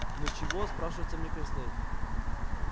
ну чего спрашивается мне краснеть